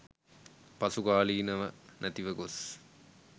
පසුකාලීනව නැතිව ගොස්